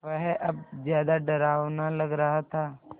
वह अब ज़्यादा डरावना लग रहा था